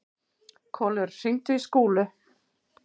Kolur, hringdu í Skúlu.